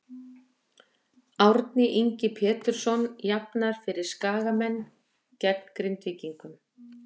Árni Ingi Pjetursson jafnar fyrir Skagamenn gegn Grindvíkingum.